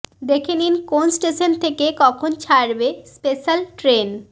দেখে নিন কোন স্টেশন থেকে কখন ছাড়বে স্পেশাল ট্রেন